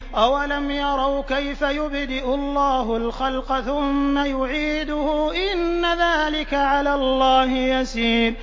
أَوَلَمْ يَرَوْا كَيْفَ يُبْدِئُ اللَّهُ الْخَلْقَ ثُمَّ يُعِيدُهُ ۚ إِنَّ ذَٰلِكَ عَلَى اللَّهِ يَسِيرٌ